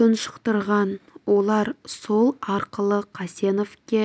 тұншықтырған олар сол арқылы қасеновке